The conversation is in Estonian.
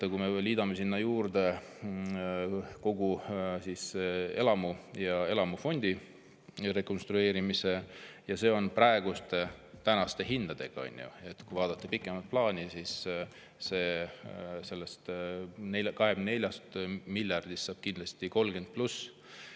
Kui me veel liidame sinna juurde kogu elamufondi rekonstrueerimise – ja see on praeguste hindade järgi, on ju – ja vaatame pikemat plaani, siis 24 miljardist saab kindlasti 30 pluss miljardit.